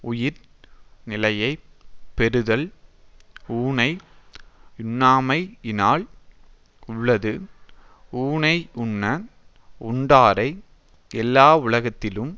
உயிர் நிலையை பெறுதல் ஊனை யுண்ணாமையினால் உள்ளது ஊனையுண்ண உண்டாரை எல்லாவுலகத்தினும்